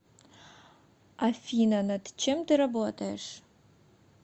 афина над чем ты работаешь